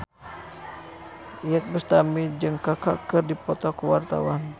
Iyeth Bustami jeung Kaka keur dipoto ku wartawan